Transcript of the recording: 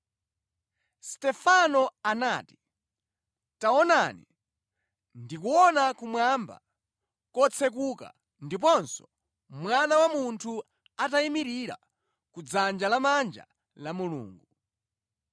Stefano anati, “Taonani, ndikuona kumwamba kotsekuka ndiponso Mwana wa Munthu atayimirira ku dzanja la manja la Mulungu.”